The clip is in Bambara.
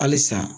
Halisa